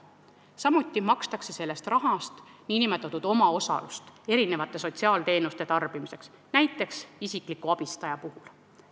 Samuti makstakse sellest rahast kinni nn omaosalust sotsiaaltoetuste tarbimisel, näiteks isikliku abistaja saamisel.